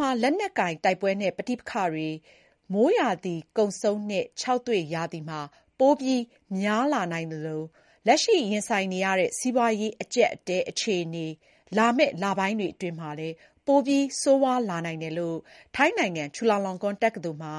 မှာ လက်နက်ကိုင်တိုက်ပွဲနဲ့ ပဋိပက္ခတွေ ပိုများလာနိုင်သလို လက်ရှိရင်ဆိုင်နေရတဲ့ စီးပွားရေး အကြပ်အတည်းဟာ လာမယ့် လပိုင်းတွေအတွင်း ပိုပြီး ဆိုးဝါးလာနိုင်တယ်လို့ ထိုင်းနိုင်ငံ Chulalongkorn တက္ကသိုလ်မှာ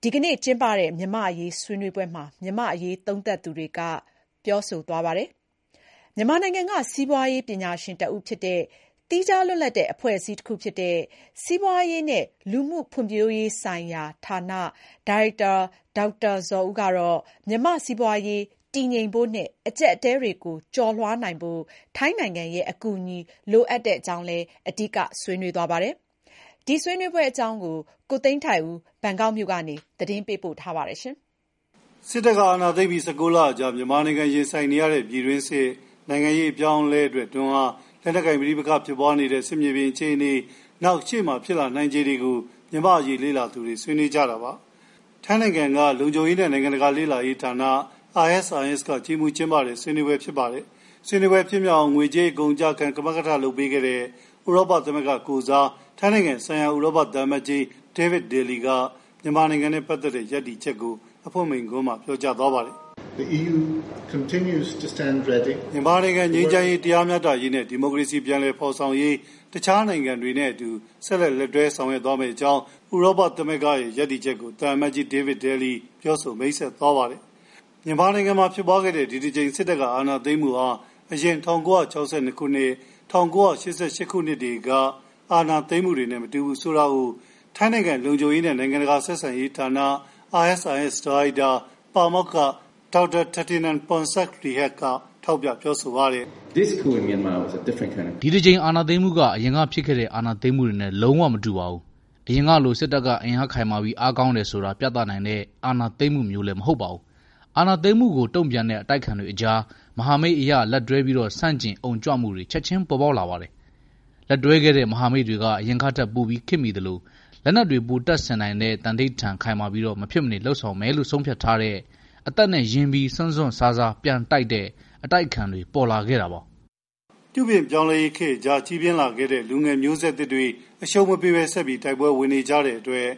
စက်တင်ဘာ ၆ ရက်၊ ဒီနေ့ ကျင်းပတဲ့ မြန်မာ့အရေးဆွေးနွေးပွဲမှာ မြန်မာ့အရေးသုံးသပ်သူတွေက သုံးသပ် ပြောဆိုသွားပါတယ်။ မြန်မာနိုင်ငံက စီးပွားရေးပညာရှင် တဦးဖြစ်ပြီး သီးခြားလွတ်လပ်တဲ့ အဖွဲအစည်းတခုဖြစ်တဲ့ စီးပွာရေးနဲ့ လူမှုဖွံ့ဖြိုးရေးဆိုင်ရာဌာန ဒါရိုက်တာ ဒေါက်တာဇော်ဦးကတော့ မြန်မာ့စီးပွားရေး တည်ငြိမ် ဖို့နဲ့ အကြပ်အတည်းတွေကို ကျော်လွှားနိုင်ဖို့ ထိုင်းနိုင်ငံရဲ့အကူအညီလိုအပ်တဲ့အကြောင်း အဓိက ဆွေးနွေးသွားပါတယ်။ ဆွေးနွေးပွဲအကြောင်း ကိုသိန်းထိုက်ဦး ဘန်ကောက်မြို့ကနေ သတင်းပေးပို့ပါတယ်။ စစ်အာဏာသိမ်းပြီး ၁၉ လအကြာ မြန်မာနိုင်ငံရင်ဆိုင်နေရတဲ့ ပြည်တွင်းစစ်နဲ့ နိုင်ငံရေး အပြောင်းလဲအတွက် တွန်းအား၊ လက်နက်ကိုင်ပဋိပက္ခဖြစ်ပွားနေတဲ့ စစ်မြေပြင် အခြေအနေ၊ နောက် ရှေ့မှာ ဖြစ်လာနိုင်ခြေတွေကို မြန်မာ့အရေး လေ့လာသူတွေ ဆွေးနွေးကြတာပါ။ ထိုင်းနိုင်ငံလုံခြုံရေးနဲ့ နိုင်ငံတကာလေ့လာရေးဌာန ISIS က ကြီးမှူးကျင်းပတဲ့ ဆွေးနွေးပွဲဖြစ်ပါတယ်။ ဆွေးနွေးပွဲ ဖြစ်မြောက်အောင် ငွေကြေးအကုန် အကျခံ ကမကထလုပ်ပေးခဲ့တဲ့ ဥရောပသမဂ္ဂကိုယ်စား ထိုင်းနိုင်ငံဆိုင်ရာ ဥရောပ သံအမတ်ကြီး David Daly က အဖွင့်မိန့်ခွန်း ပြောကြားပါတယ်။ မြန်မာနိုင်ငံ ငြိမ်းချမ်းရေး၊ တရားမျှတရေးနဲ့ ဒီမိုကရေစီ ပြန်လည်ဖေါ်ဆောင်ရေး တခြားနိုင်ငံတွေနဲ့ အတူ ဆက်လက်လက်တွဲဆောင်ရွက်သွားမယ့်အကြောင်း ဥရာပ သမဂ္ဂရဲ့ ရပ်တည်ချက်ကို ပြောဆိုမိတ်ဆက်သွားပါတယ်။ မြန်မာနိုင်ငံမှာ ဖြစ်ပွားခဲ့တဲ့ ဒီတကြိမ် စစ်တပ်အာဏာသိမ်းမှုဟာ အရင် ၁၉၆၂၊ ၁၉ဂဂ ခုနှစ်က အာဏာသိမ်းမှုတွေနဲ့မတူဘူးဆိုတာကို ထိုင်းနိုင်ငံလုံခြုံရေးနဲ့ နိုင်ငံတကာ ဆက်ဆံရေး ဌာန ISIS ဒါရိုက်တာ၊ ပါမောက္ခ Dr. Thitinan Pongsudhirak က ထောက်ပြပါတယ်။ “ဒီတကြိမ်အာဏာသိမ်းမှုက အရင်ကဖြစ်ခဲ့တဲ့ အာဏာသိမ်းမှုတွေနဲ့ လုံးဝမတူပါဘူး။ အရင်ကလို စစ်တပ်က အင်အားခိုင်မာပြီး အားကောင်းတယ်ဆိုတာ ပြသနိုင်တဲ့ အာဏာသိမ်းမှုမျိုးလည်း မဟုတ်ပါဘူး။ အာဏာသိမ်းမှုကို တုံ့ပြန်တဲ့ အတိုက်အခံတွေကြား မဟာမိတ်အရ လက်တွဲပြီးဆန့်ကျင်အုံကြွမှုတွေ ချက်ခြင်း ပေါ်ပေါက်လာတယ်။ လက်တွဲခဲ့တဲ့မဟာမိတ်တွေက အရင်ကထက်ပိုပြီး ခေတ်မီသလို လက်နက်တွေ ပိုတပ်ဆင်နိုင်တဲ့၊ သန္နိဌာန်ခိုင်မာပြီး မဖြစ်မနေလုပ်ဆောင်မယ်လို့ ဆုံးဖြတ်ထားတဲ့၊ အသက်နဲ့ရင်းပြီး စွန့်စွန့်စားစား ပြန်တိုက်တဲ့ အတိုက်အခံတွေ ပေါ်လာခဲ့တာပါ။” အထူးသဖြင့် ပြုပြင်ပြောင်းလဲမှုတွေကြားကြီးပြင်းလာတဲ့ လူငယ်မျိုးဆက်သစ်တွေက အရှုံးမပေးဘဲ ဆက်ပြီး တိုက်ပွဲဝင်နေကြတဲ့အတွက်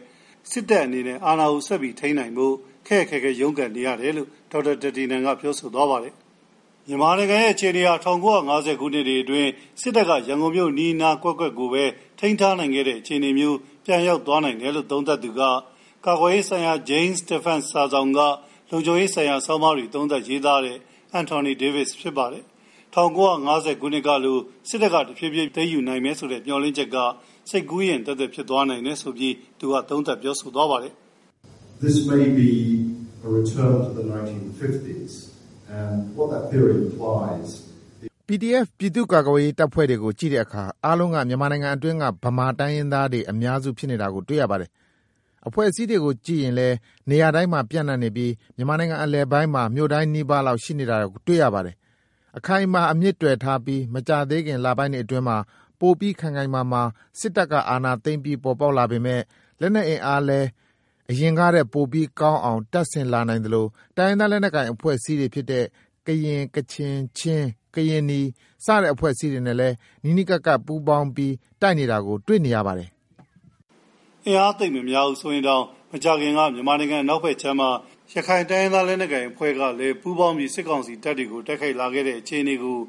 စစ်တပ်က အာဏာကိုဆက်ပြီး ထိန်းနိုင်ဖို့ ခက်က်ခဲခဲရုံးကန်နေရတယ်လို့ ဒေါက်တာ Thitinan က ပြောဆိုသွားပါတယ်။ မြန်မာနိုင်ငံရဲ့အခြေအနေဟာ ၁၉၅၀ ခုနှစ်တွေအတွင်း စစ်တပ်က ရန်ကုန်မြို့အနီးအနားကွက်ကွက်ကိုပဲ ထိန်းထားနိုင်ခဲ့တဲ့အခြေအနေမျိုးပြန်ရောက်သွားနိုင်တယ်လို့ သုံးသပ်သူက ကာကွယ်ရေးဆိုင်ရာ Jane's Defense စာစောင်မှာ လုံခြုံရေးဆိုင်ရာ ဆောင်းပါးတွေ သုံးသပ်ရေးသားတဲ့ Anthony Davis ဖြစ်ပါတယ်။ ၁၉၅၀ ခုနှစ်ကလို စစ်တပ်က တဖြေးဖြေး ပြန်ပြီး သိမ်းယူနိုင်မယ်ဆိုတဲ့ မျှော်လင့်ချက်က စိတ်ကူးယဉ်သက်သက်သက် ဖြစ်သွားနိုင်တယ်လို့လည်း သူက သုံးသပ်ပါတယ်။ “PDF ပြည်သူ့ကာကွယ်ရေးတပ်ဖွဲ့တွေကို ကြည့်တဲ့အခါ အားလုံးက မြန်မာနိုင်ငံအတွင်း ဗမာတိုင်းရင်းသားတွေ အများစု ဖြစ်နေတာတွေကို တွေ့ရမှာပါ။ အဖွဲ့အစည်းတွေကို ကြည့်ရင်လည်း နေရာတိုင်းမှာ ပျံ့နှံ့နေပြီး မြန်မာနိုင်ငံအလယ်ပိုင်းမှာ မြို့တိုင်းနီးပါးလောက် ရှိနေတာတွေကို တွေ့ရပါတယ်။ အခိုင်အမာ အမြစ်တွယ်ထားပြီး မကြာသေးခင်လပိုင်းတွေအတွင်းမှာ ပိုပြီး ခိုင်ခိုင်မာမာ စစ်တပ်ကအာဏာသိမ်းပြီး ပေါ်ပေါက်လာပေမယ့် လက်နက်အင်အားလည်း အရင်ကထက် ပိုပြီး ကောင်းအောင် တပ်ဆင်လာနိုင်သလို တိုင်းရင်းသားလက်နက်ကိုင်အဖွဲ့အစည်းတွေဖြစ်တဲ့ ကရင်၊ ကချင်၊ ချင်း၊ ကရင်နီ စတဲ့အဖွဲ့တွေနဲ့လည်း နီးနီးကပ်ကပ် တိုက်နေတာကို တွေ့နေရပါတယ်။” မကြာသေးခင်လေးကပဲ အင်အားသိပ်များရင်တောင် မြန်မာနိုင်ငံအနောက်ဘက်ခြမ်းမှာ ရခိုင်အဖွဲ့နဲ့လည်း ပူးပေါင်းပြီး စစ်ကောင်စီတပ်တွေကို တိုက်ခိုက်လာခဲ့တာတွေကို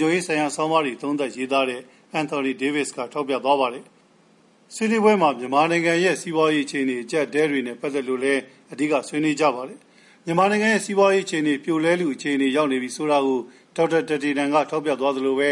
Jane's Defense စာစောင်မှာ လုံခြုံရေးဆိုင်ရာ ဆောင်းပါးတွေ သုံးသပ်ရေးသားတဲ့ Anthony Davis ကထောက်ပြသွားပါတယ်။ ဆွေးနွေးပွဲမှာ မြန်မာနိုင်ငံရဲ့ စီးပွားရေးအခြေအနေ အကြပ်အတည်းတွေကို အဓိက ဆွေးနွေးကြပါတယ်။ မြန်မာနိုင်ငံရဲ့ စီးပွားရေး အခြေအနေ ပြိုလဲလုအခြေအနေ ရောက်နေပြီဆိုတာကို Dr. Thitinan က ထောက်ပြသွားသလိုပဲ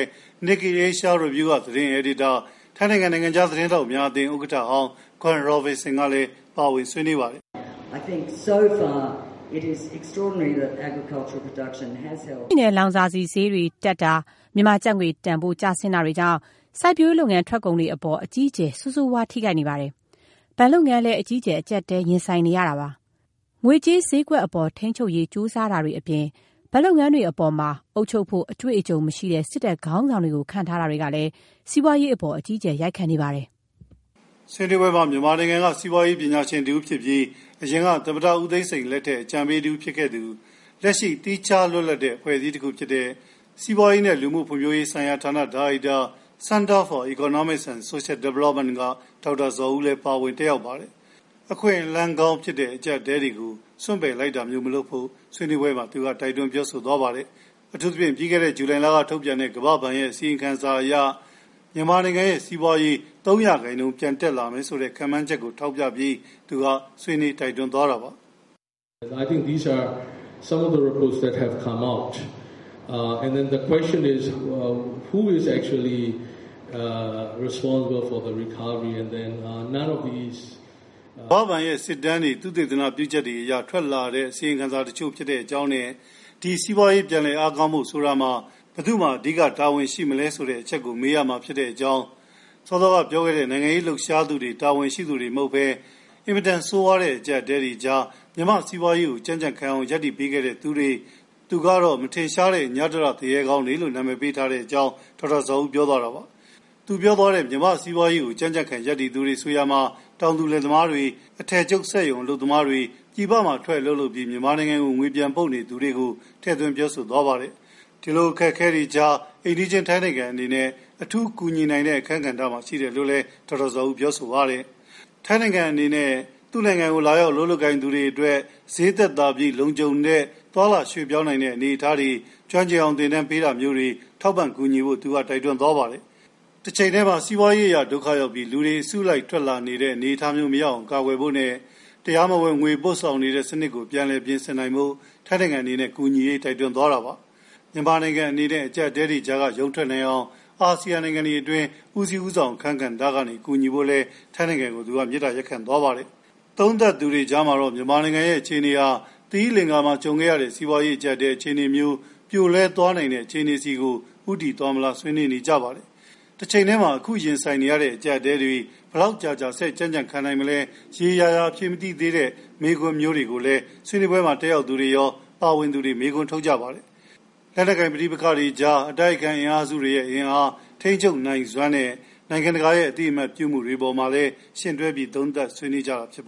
Nikkei Asian Review က သတင်းအယ်ဒီတာ၊ ထိုင်းနိုင်ငံ နိုင်ငံခြား သတင်းထောက်များအသင်း ဥက္ကဋ္ဌဟောင်း Gwen Robinson ကလည်း ပါဝင် ဆွေးနွေးပါတယ်။ “ဓါတ်ဆီနဲ့ လောင်စာဆီဈေးတွေ တက်တာ၊ မြန်မာကျပ်ငွေ တန်ဖိုးကျဆင်းတာတွေကြောင့် စိုက်ပျိုးရေးလုပ်ငန်း ထွက်ကုန်တွေအပေါ် အကြီးအကျယ် ဆိုးဆိုးဝါး ထိခိုက်နေပါတယ်။ ဘဏ်လုပ်ငန်းလည်း အကြီးအကျယ် အကြပ်အတည်းကို ရင်ဆိုင်နေရပါတယ်။ ငွေကြေးဈေးကွက်အပေါ် ထိန်းချုပ်ရေး ကြိုးစားတာတွေအပြင် ဘဏ်လုပ်ငန်းတွေအပေါ်မှာ အုပ်ချုပ်ဖို့ အတွေ့အကြုံမရှိတဲ့ စစ်တပ်ခေါင်းဆောင်တွေကို ခန့်ထားတာတွေကလည်း စီးပွားရေးအပေါ် အကြီးအကျယ် ရိုက်ခတ်နေပါတယ်”-လို့ Gwen Robinson ကလည်း ပြောဆိုပါတယ်။ ဆွေးနွေးပွဲမှာ မြန်မာနိုင်ငံက စီးပွားရေးပညာရှင်တဦးဖြစ်ပြီး အရင်က သမ္မတဦးသိန်းစိန်လက်ထက် အကြံပေးတဦးဖြစ်ခဲ့သူ လက်ရှိ သီးခြားလွတ်လပ်တဲ့ အဖွဲအစည်းတခုဖြစ်တဲ့ စီးပွာရေးနဲ့ လူမှုဖွံ့ဖြိုးရေးဆိုင်ရာဌာန ဒါရိုက်တာ၊ စီးပွာရေးနဲ့ လူမှုဖွံ့ဖြိုးရေး ဌာန Center for Economic and Social Development ဆိုင်ရာ ဒါရိုက်တာ ဒေါက်တာဇော်ဦးလည်း ပါဝင်ပြီး အခွင့်အလမ်းကောင်းဖြစ်တဲ့ အကြပ်အတည်းတွေကို စွန့်ပယ်လိုက်တာမျိုး မလုပ်ဖို့ ဆွေးနွေးပွဲမှာ တိုက်တွန်းသွားပါတယ်။ ပြီးခဲ့တဲ့ ဂျုလိုင်လကထုတ်ပြန်တဲ့ ကမ္ဘာဘဏ်ရဲ့အစီရင်ခံစာအရ မြန်မာနိုင်ငံရဲ့ စီးပွားရေး ၃ ရာခိုင်နှုန်း ပြန်တက်လာမယ်ဆိုပြီး ကမ္ဘာဘဏ်က ခန့်မှန်းထားတဲ့အချက်ကို ဒေါက်တာဇော်ဦးက ထောက်ပြသွားပါတယ်။ “ဒါက မြန်မာနိုင်ငံနဲ့ပတ်သက်လို့ ထွက်လာတဲ့ အစီရင်ခံစာတချို့ပါ။ ဒီလို စီးပွားရေးပြန်လည် အားကောင်းဖို့ ဆိုတာမှာ ဘယ်သူက အဓိကတာဝန်ရှိသလဲဆိုတဲ့အချက်ကို မေးရပါလိမ့်မယ်။ ခင်ဗျားတို့ စောစောက ပြောနေတဲ့ နိုင်ငံရေးလှုပ်ရှားသူတွေက တာဝန်ရှိသူတွေ မဟုတ်ပါဘူး။ ကျနော်ကတော့ အင်မတန်ဆိုးဝါးတဲ့ အကြပ်အတည်းကြားမှာ မြန်မာစီးပွားရေးကို ကြံ့ကြံ့ခံနိုင်အောင် ရပ်တည်ပေးတဲ့သူတွေ၊ အသြတရ သူရဲကောင်းတွေလို့ နာမည်ပေးထားပါတယ်။” ဒေါက်တာဇော်ဦး ပြောသွားတဲ့ မြန်မာစီးပွားရေးကို ကြံ့ကြံ့ခံရပ်တည်သူတွေဆိုရာမှာ တောင်သူလယ်သမားတွေ၊ အထည်ချုပ်စက်ရုံအလုပ်သမားတွေ၊ ပြည်ပမှာ ထွက် အလုပ်လုပ်ပြီး မြန်မာနိုင်ငံကို ပြန်ငွေပို့နေသူတွေကို ပြောဆိုသွားပါတယ်။ ဒီလို အခက်အခဲကြားမှာ ထိုင်းနိုင်ငံအနေနဲ့ အထူးကူညီနိုင်တဲ့ အခန်းကဏ္ဍမှာ ရှိတယ်လို့ သူက ပြောဆိုပါတယ်။ လာရောက်အလုပ်လုပ်ကိုင်သူတွေအတွက် ဈေးသက်သာပြီး လုံခြုံတဲ့ သွားလာရွှေ့ပြောင်းနိုင်တဲ့ အနေအထားတွေ၊ ကျွမ်းကျင်အောင် သင်တန်းပေးတာတွေကို သူက တိုက်တွန်းသွားပါတယ်။ တချိန်တည်းမှာ စီးပွားရေးအရ ဒုက္ခရောက်ပြီး လူတွေ အစုလိုက်ထွက်နေတဲ့ အနေအထားမျိုးကို မရောက်အောင် ကာကွယ်ဖို့နဲ့ တရားမဝင် ငွေပို့ဆောင်နေတဲ့ စနစ်ကို ပြန်လည်ပြင်ဆင်ဖို့ တိုက်တွန်းသွားတာပါ။ မြန်မာနိုင်ငံအနေနဲ့ အကြပ်အတည်းတွေကြားက ရုန်းထွက်နိုင်အောင် Asean နိုင်ငံတွေအတွင်း ဦးစီးဦးဆောင် အခန်းကဏ္ဍ ကနေ ကူညီဖို့ ထိုင်းနိုင်ငံကို ဒေါက်တာဇော်ဦး တိုက်တွန်းသွားပါတယ်။ သုံးသပ်သူတွေကြားမှာတော့ မြန်မာနိုင်ငံရဲ့ အခြေအနေဟာ သီရိလကာၤမှာ ကြုံခဲ့ရတဲ့ စီးပွားရေး အကြပ်အတည်းအခြေအနေမျိုး ပြိုလဲသွားနိုင်တဲ့ အခြေအနေဆီ ဦးတည်သွားမလား ဆွေးနွေးကြပါတယ်။ တချိန်တည်းမှာ အခု ရင်ဆိုင်နေရတဲ့အကြပ်အတည်းတွေ ဘယ်လောက်ကြာကြာ ဆက်ကြံ့ကြံ့ခံနိုင်မလဲဆိုတဲ့ ရေရေရာရာ အဖြေမရှိသေးတဲ့ မေးခွန်းမျိုးတွေလည်း ဆွေးနွေးပွဲမှာ တက်ရောက်သူတွေရော ပါဝင်သူတွေပါ မေးခွန်းထုတ်ကြပါတယ်။ အတိုက်အခံအင်အားစုတွေရဲ့ အင်အား၊ ထိန်းချုပ်နိုင်စွမ်းနဲ့ နိုင်ငံတကာရဲ့ အသိအမှတ်ပြုမှုတွေပေါ်မှာ ယှဉ်တွဲပြီး သုံးသပ်ဆွေးနွေးကြတာဖြစ်ပါ